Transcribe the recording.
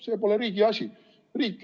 See pole riigi asi.